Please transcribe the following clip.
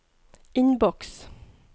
innboks